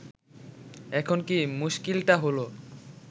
এখন কি মুশকিলটা হল